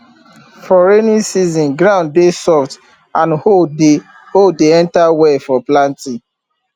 for rainy season ground dey soft and hoe dey hoe dey enter well for planting